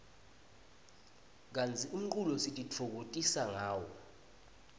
kantsi umculo sitifokotisa ngawo